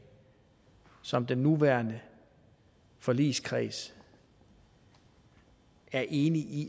som den nuværende forligskreds er enig i